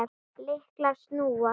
Lyklar snúast.